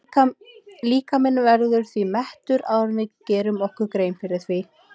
Líkaminn verður því mettur áður en við gerum okkur grein fyrir því.